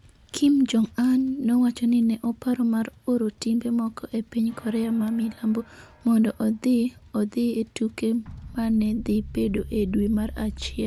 Kim Jong-un nowacho ni ne oparo mar oro timbe moko e piny Korea ma milambo mondo odhi odhi e tuke ma ne dhi bedo e dwe mar achiel.